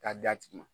K'a d'a tigi ma